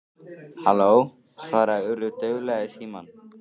Halló- svaraði Urður dauflega í símann.